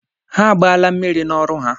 Ha agbaala mmiri n'ọrụ ha